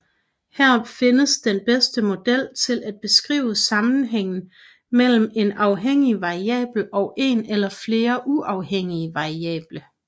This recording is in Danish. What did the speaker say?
Her findes den bedste model til at beskrive sammenhængen mellem en afhængig variabel og en eller flere uafhængige variable